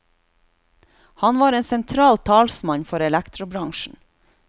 Han var en sentral talsmann for elektrobransjen.